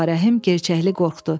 Ağarəhim gərçəkli qorxdu.